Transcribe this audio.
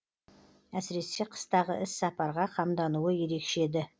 әсіресе қыстағы іс сапарға қамдануы ерекше еді